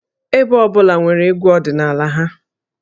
Ebo ọ bụla nwere egwú ọdịnala ha